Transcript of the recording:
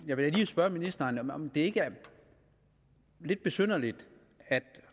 jeg vil lige spørge ministeren om det ikke er lidt besynderligt